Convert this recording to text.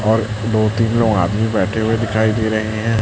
और दो तीन लोग आदमी बैठे हुए दिखाई दे रहे हैं।